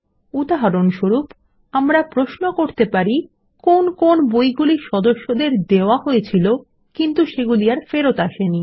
উদাহরণস্বরূপ আমরা প্রশ্ন করতে পারি কোন কোন বইগুলি সদস্যদের দেওয়া হয়েছিল কিন্তু সেগুলি আর ফেরত আসেনি